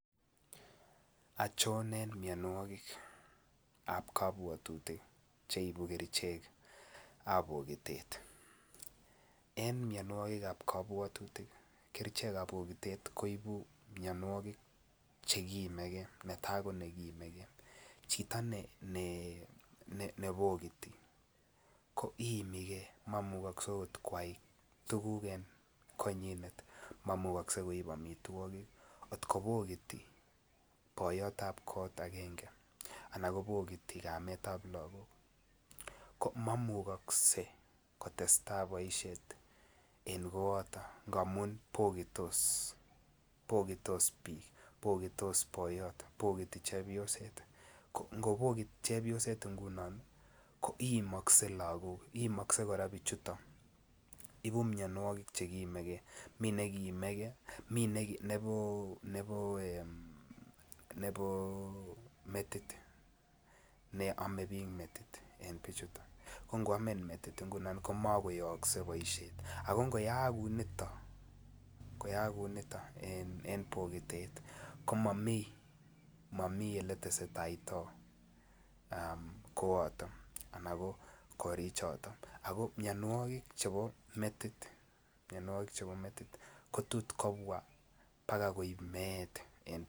Ochon en mionwogikab kabwatutik Che ibu kerichek ab pokitet cheu mianwogik netai ko nekiimege chito nebogiti ko iimige ak mamukogse koai okot tuguk en konywan mamukogse koib amitwogik angot kobogiti boyot ab kot agenge anan kobogiti kamet ab lagok ko mamukogse kotestai boisiet en koato ngamun bogitos bik bogiti boyot bogiti chepyoset ko ango bogiti chepyoset ngunon ko iimokse lagok iimokse kora bik chuton ibu mianwogik Che kiimege mine nekiimege mi nebo metit ne ame bik metit en bichuto ko angoamin metit ngunon ko magoyokse boisiet ago ngoyaak kounito komami Ole testoitotai koato anan korichoto ago mianwogik chebo metit ko tot kobwa agoi koib meet